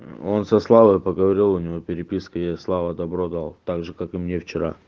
он со славой поговорил у него переписка я слава добро дал также как и мне вчера